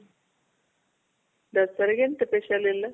ದಸರಗೆಂತ special ಇಲ್ಲ.